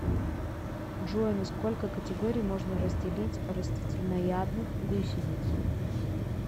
джой на сколько категорий можно разделить растительноядных гусениц